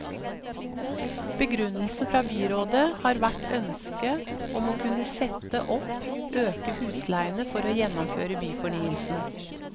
Begrunnelsen fra byrådet har vært ønske om å kunne sette opp øke husleiene for å gjennomføre byfornyelsen.